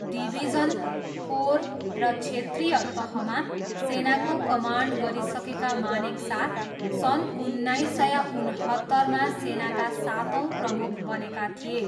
Division, corps र क्षेत्रीय तहमा सेनाको कमान्ड गरिसकेका मानेकसा सन् उन्नाइस सय उनहत्तरमा सेनाका सातौँ प्रमुख बनेका थिए।